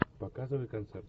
показывай концерт